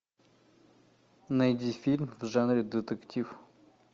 найди фильм в жанре детектив